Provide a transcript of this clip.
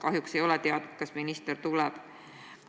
Kahjuks ei ole teada, kas minister tuleb.